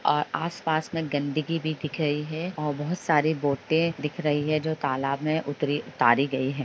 और आसपास में गंदगी भी दिख रही है और बहुत सारे बोटे भी दिख रही है और जो तालाब में उतरी उतारी गई है।